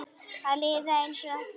Að líða einsog ekkert væri.